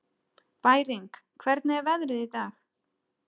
Bæring, hvernig er veðrið í dag?